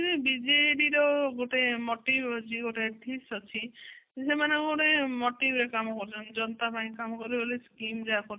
ବିଜେଡିର ଗୋଟେ motive ଅଛି ଗୋଟେ ଅଛି ସେମାନନେ ଗୋଟେ motiveରେ କାମ କରୁଛନ୍ତି ଜନତାଙ୍କ ପାଇଁ କାମ କରିବେ ବୋଲି scheme